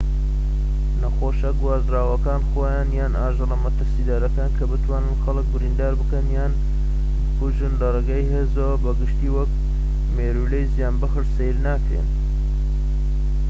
نەخۆشیە گوازراوەکان خۆیان یان ئاژەڵە مەترسیدارەکان کە بتوانن خەڵك بریندار بکەن یان بکوژن لەڕێی هێزەوە بە گشتیی وەکو مێرووی زیانبەخش سەیر ناکرێن